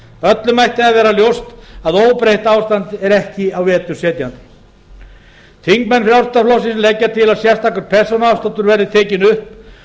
öllum ætti að vera ljóst að óbreytt ástand er ekki í vetur setjandi þingmenn frjálslynda flokksins leggja til að sérstakur persónuafsláttur verði tekinn upp